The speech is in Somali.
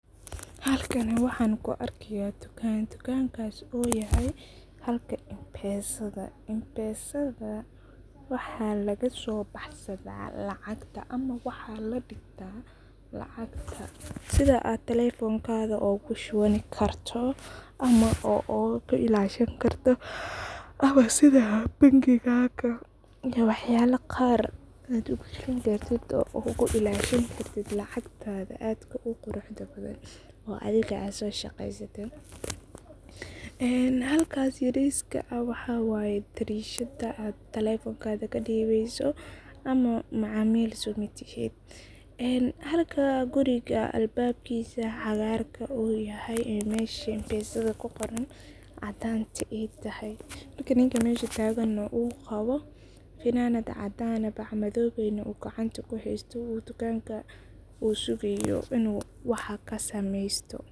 Halkani waxan kuu arkaya waa dukan, dukankas uyahay halka impesada, impesada waxa lasobaxsada lacagta ama waxa ladigta lacagta, sidhaa aad telefonkada ugu shubani karto ama ogu ilashani karto, ama sidaa bangigaga waxyala qaar aad ogu xirani kartit aad oguilashani karit lacagtada aadka uqurax badan oo adhiga aad soshaqeysate halkasi yariska ah waxa wayeh darishada, aad telefonkada kadibeyso ama macamil somatihid halka guriga albabkisa ucagarka uyahay ee mesha impesada kuqoran cadanta aay tahay, halka ninka mesha tagan nah uqabo fananad cadan ah bac madowey nah uu gacanta kuhaysto uu tukanka usugayo inu wax kasameysto.